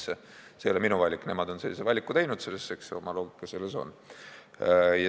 See ei ole minu valik, nemad on sellise valiku teinud, aga eks oma loogika selles ole.